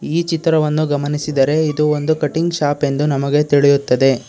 ಈ ಚಿತ್ರವನ್ನು ಗಮನಿಸಿದರೆ ಇದು ಒಂದು ಕಟಿಂಗ್ ಶಾಪ್ ಎಂದು ನಮಗೆ ತಿಳಿಯುತ್ತದೆ